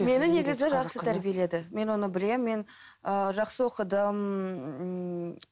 мені негізі жақсы тәрбиеледі мен оны білемін мен ыыы жақсы оқыдым ммм